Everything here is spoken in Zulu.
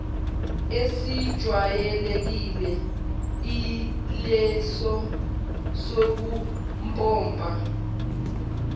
esijwayelekile ileso sokumpompa